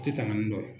Tɛ tɛmɛ nin dɔ